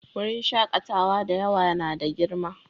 Wurin shakatawa da yawa na da girma